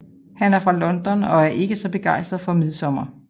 Han er fra London og er ikke så begejstret for Midsomer